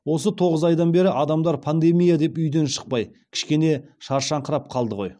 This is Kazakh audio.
осы тоғыз айдан бері адамдар пандемия деп үйден шықпай кішкене шаршаңқырап қалды ғой